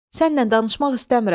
Sənnən danışmaq istəmirəm.